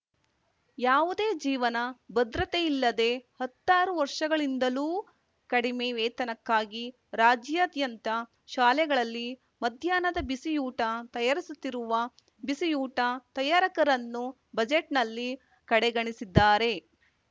ಯಾವುದೇ ಜೀವನ ಭದ್ರತೆಯಿಲ್ಲದೆ ಹತ್ತಾರು ವರ್ಷಗಳಿಂದಲೂ ಕಡಿಮೆ ವೇತನಕ್ಕಾಗಿ ರಾಜ್ಯಾದ್ಯಂತ ಶಾಲೆಗಳಲ್ಲಿ ಮಧ್ಯಾಹ್ನದ ಬಿಸಿಯೂಟ ತಯಾರಿಸುತ್ತಿರುವ ಬಿಸಿಯೂಟ ತಯಾರಕರನ್ನು ಬಜೆಟ್‌ನಲ್ಲಿ ಕಡೆಗಣಿಸಿದ್ದಾರೆ